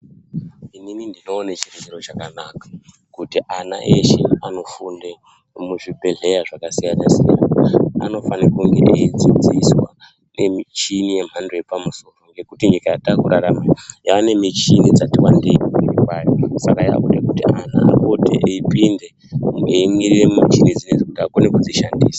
Inini ndinoona chiri chiro chakanaka kuti ana eshe anofunda muzvibhedhlera zvakasiyana siyana anofana kunge eidzidziswa nemuchina yemhando yepamusoro soro ngekuti nyika yatakurarama yane michini dzati wandei Saka yakuda kuti vantu vapote eipinda kuti einigira muchizezi kuti akone kudzishandisa.